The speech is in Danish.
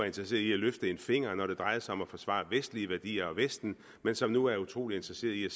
interesseret i at løfte en finger når det drejede sig om at forsvare vestlige værdier og vesten men som nu er utrolig interesseret i at